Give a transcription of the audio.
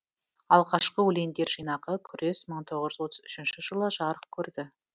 алғашқы өлеңдер жинағы күрес мың тоғыз жүз отыз үшінші жылы жарық көрді